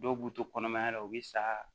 Dɔw b'u to kɔnɔmaya la u bɛ sa